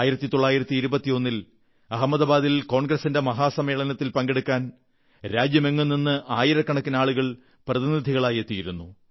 1921 ൽ അഹമ്മദാബാദിൽ കോൺഗ്രസിന്റെ മഹാസമ്മേളനത്തിൽ പങ്കെടുക്കാൻ രാജ്യമെങ്ങും നിന്ന് ആയിരക്കണക്കിന് ആളുകൾ പ്രതിനിധികളായി എത്തിയിരുന്നു